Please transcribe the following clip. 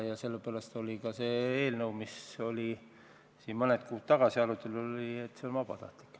Ja sellepärast oli ka selles eelnõus, mis siin mõned kuud tagasi arutelu all oli, ette nähtud, et see on vabatahtlik.